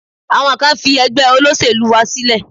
Àwọn kan fi ẹgbẹ́ olóṣèlú wa sílẹ̀.